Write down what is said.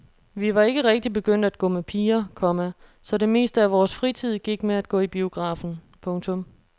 Vi var ikke rigtig begyndt at gå med piger, komma så det meste af vores fritid gik med at gå i biografen. punktum